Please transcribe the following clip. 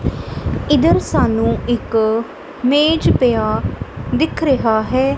ਇਧਰ ਸਾਨੂੰ ਇੱਕ ਮੇਜ ਪਿਆ ਦਿਖ ਰਿਹਾ ਹੈ।